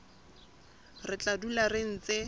re tla dula re ntse